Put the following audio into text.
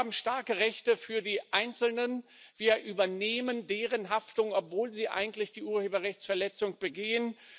Wir haben starke Rechte für die Einzelnen, wir übernehmen deren Haftung, obwohl sie eigentlich die Urheberrechtsverletzung begehen.